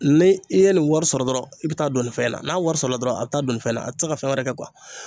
Ne i ye nin wari sɔrɔ dɔrɔn i bi taa don nin fɛn na n'a wari sɔrɔla dɔrɔn a be taa don nin fɛn na a te se ka fɛn wɛrɛ kɛ kuwa